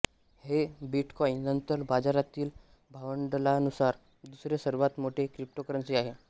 हे बिटकॉइन नंतर बाजारातील भांडवलानुसार दुसरे सर्वात मोठे क्रिप्टोकरन्सी आहे